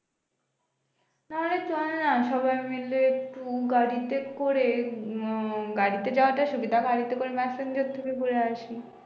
তবে চল না সবাই মিলে উম গাড়িতে করে উম গাড়িতে যাওয়াটাই সুবিধা গাড়িতে করে ম্যাসেঞ্জার থেকে ঘুরে আসি